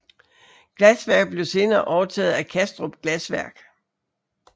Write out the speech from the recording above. Glasværket blev senere overtaget af Kastrup Glasværk